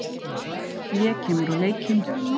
Hlé kemur á leikinn.